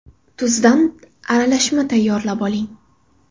Tuzdan aralashma tayyorlab oling.